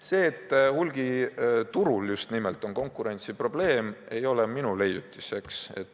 See, et hulgiturul on just nimelt konkurentsiprobleem, ei ole minu leiutis.